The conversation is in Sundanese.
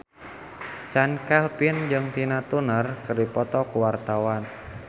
Chand Kelvin jeung Tina Turner keur dipoto ku wartawan